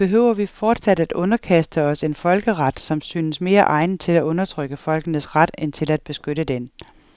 Behøver vi fortsat at underkaste os en folkeret, som synes mere egnet til at undertrykke folkenes ret end til at beskytte den.